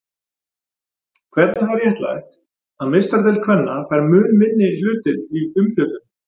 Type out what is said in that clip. Hvernig er það réttlætt að meistaradeild kvenna fær mun minni hlutdeild í umfjöllun?